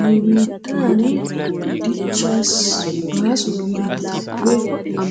Nu biittaani dichchaassi baaso gididabatuppe